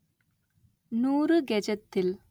நூறு கெஜத்தில்